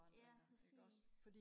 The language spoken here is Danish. ja præcis